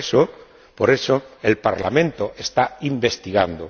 Y por eso, el Parlamento está investigando.